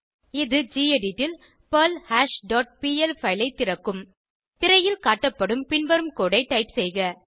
இது கெடிட் ல் perl hash dot P L file ஐ திறக்கும் திரையில் காட்டப்படும் பின்வரும் கோடு ஐ டைப் செய்க